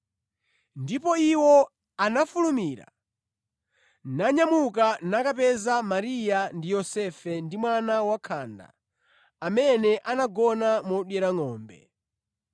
Ndipo iwo anafulumira nyamuka nakapeza Mariya ndi Yosefe ndi mwana wakhanda, amene anagona modyera ngʼombe.